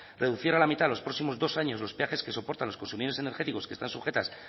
reducir a la mitad los próximos dos años los peajes que soportan los consumidores energéticos que están sujetas